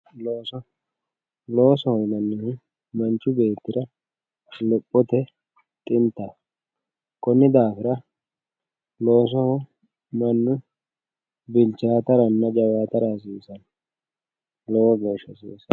loosoho yinannihu manchi beettira lophote xintaho konni daafira loosoho mannu bilchaataranna jawaatara hasiisanno lowo geeshsha hasiisanno.